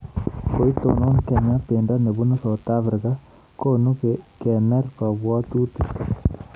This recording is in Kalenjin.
Koitonon Kenya bendo nebunu Sauthafrika konu kener kabwotutik